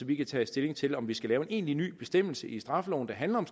vi kan tage stilling til om vi skal lave en egentlig ny bestemmelse i straffeloven der handler